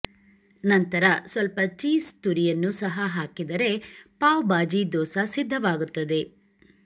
ನಂತರ ಸ್ವಲ್ಪ ಚೀಸ್ ತುರಿಯನ್ನೂ ಸಹ ಹಾಕಿದರೆ ಪಾವ್ ಬಾಜಿ ದೋಸಾ ಸಿದ್ಧವಾಗುತ್ತದೆ